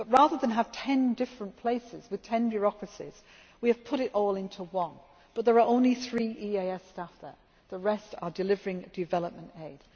countries. Rather than having 10 different places with 10 bureaucracies, we have put it all into one, but there are only three EEAS staff there, the rest are delivering development